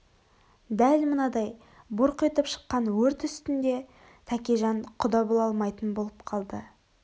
дәл мынадай бұрқ етіп шыққан өрт үстінде тәкежан құда бола алмайтын болып қалды